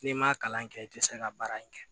N'i ma kalan kɛ i tɛ se ka baara in kɛ